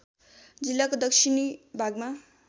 जिल्लाको दक्षिणी भागमा